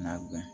N'a gan